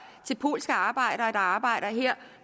til polske arbejdere der arbejder her